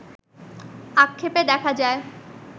আক্ষেপে দেখা যায়